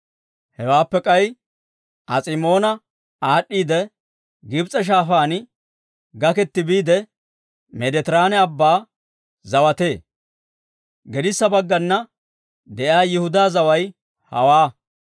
Hewaappe k'ay As'imoona aad'd'iidde, Gibs'e Shaafaan gaketti biide, Meeditiraane Abban zawatee. Gedissa baggana de'iyaa Yihudaa zaway hawaa.